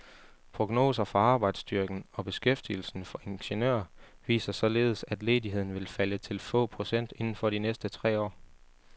Prognoser for arbejdsstyrken og beskæftigelsen for ingeniører viser således, at ledigheden vil falde til få procent inden for de næste tre år.